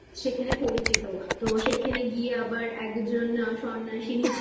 সেখানে পরিচিতি তো সেখানে গিয়ে আবার একজন সন্ন্যাসিনী